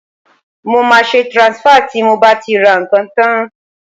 Mo máa ṣe transfer tí mo bá ti ra ǹkan tán